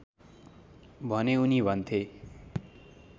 भने उनी भन्थे